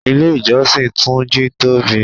Ilé ìjọsìn túnjí tóbi